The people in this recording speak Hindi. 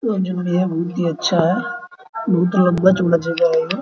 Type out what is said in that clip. और जो भी हैबहुत ही अच्छा है बहुत ही लंबा चौड़ा जगह है ये --